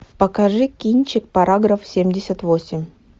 покажи кинчик параграф семьдесят восемь